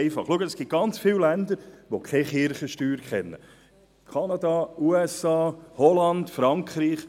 Es gibt sehr viele Länder, die keine Kirchensteuern kennen, wie etwa Kanada, die USA, Holland oder Frankreich.